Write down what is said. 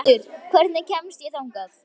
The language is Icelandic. Eldur, hvernig kemst ég þangað?